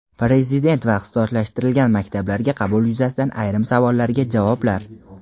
Prezident va ixtisoslashtirilgan maktablarga qabul yuzasidan ayrim savollarga javoblar.